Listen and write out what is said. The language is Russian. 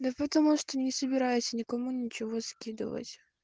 да потому что не собираюсь я никому ничего скидывать